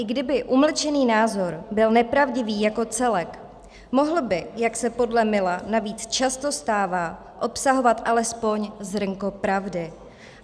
I kdyby umlčený názor byl nepravdivý jako celek, mohl by, jak se podle Milla navíc často stává, obsahovat alespoň zrnko pravdy.